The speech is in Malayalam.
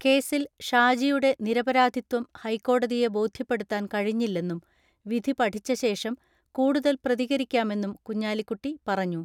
കേസിൽ ഷാജി യുടെ നിരപരാധിത്വം ഹൈക്കോടതിയെ ബോധ്യപ്പെടുത്താൻ കഴി ഞ്ഞില്ലെന്നും വിധി പഠിച്ച ശേഷം കൂടുതൽ പ്രതികരിക്കാമെന്നും കുഞ്ഞാലിക്കുട്ടി പറഞ്ഞു.